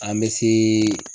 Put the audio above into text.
An bɛ seee